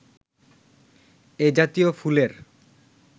এ জাতীয় ফুলের